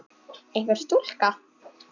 Einhver stúlka?